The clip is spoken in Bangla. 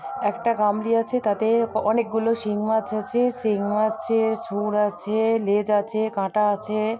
একটা গামলি আছে তাতে অনেকগুলো সিং মাছ আছে সিং মাছের সুর আছে লেজ আছে কাঁটা আছে।